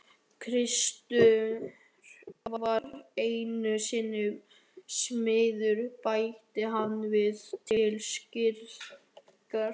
Kristur var einu sinni smiður bætti hann við til skýringar.